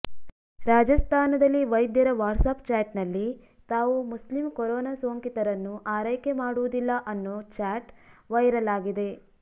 ರಾಜಸ್ಥಾನದಲ್ಲಿ ವೈದ್ಯರ ವ್ಯಾಟ್ಸ್ಆ್ಯಪ್ ಚಾಟ್ನಲ್ಲಿ ತಾವು ಮುಸ್ಲಿಂ ಕೊರೋನಾ ಸೋಂಕಿತರನ್ನು ಆರೈಕೆ ಮಾಡುವುದಿಲ್ಲ ಅನ್ನೋ ಚಾಟ್ ವೈರಲ್ ಆಗಿದೆ